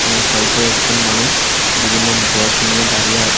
এবং সাইটে একজন মানুষ বিভিন্ন ব্যাগ নিয়ে দাঁড়িয়ে আছে।